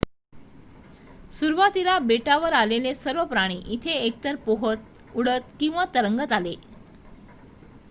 सुरुवातीला बेटावर आलेले सर्व प्राणी इथे एकतर पोहत उडत किंवा तरंगत आले